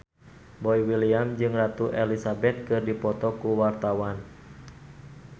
Boy William jeung Ratu Elizabeth keur dipoto ku wartawan